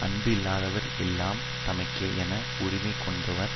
அன்பு இல்லாதவர் எல்லாம் தமக்கே என உரிமை கொண்டாடுவர்